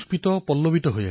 মই খুউব সন্তোষিত হলো